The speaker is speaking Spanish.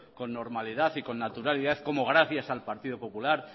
con normalidad y naturalidad cómo gracias al partido popular